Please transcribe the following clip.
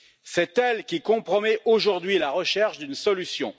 C'est elle qui compromet aujourd'hui la recherche d'une solution.